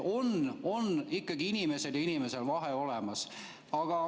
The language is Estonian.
On ikkagi inimesel ja inimesel vahe.